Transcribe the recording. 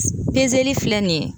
filɛ nin ye